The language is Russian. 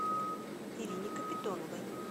ирине капитоновой